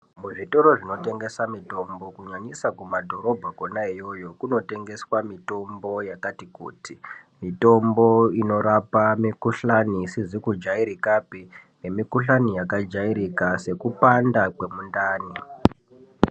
Muzvitoro zvinotengesa mitombo kunyanyisa kumadhorobha kona iyoyo kunotengesa mitombo yakati kuti , mitombo inorapa mikhuhlani isizi kujairikapi nemikhuhlani yakajairika sekupanda kwemundani.